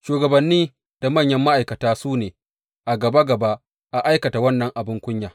Shugabanni da manyan ma’aikata su ne a gaba gaba a aikata wannan abin kunya.